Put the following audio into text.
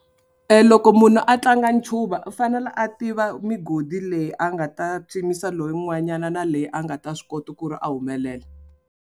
E loko munhu a tlanga ncuva u fanele a tiva migodi leyi a nga ta lowun'wanyana na leyi a nga ta swi kota ku ri a humelela.